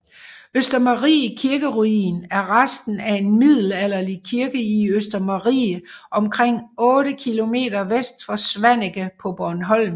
Østermarie kirkeruin er resten af en middelalderlig kirke i Østermarie omkring 8 km vest for Svaneke på Bornholm